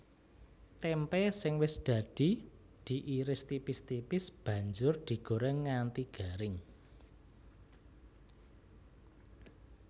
Témpé sing wis dadi diiris tipis tipis banjur digorèng nganti garing